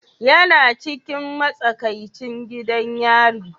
Yana cikin matsakaicin gidan yari?